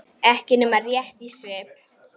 Ekki nema rétt í svip.